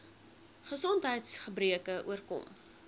gesondheids gebreke oorkom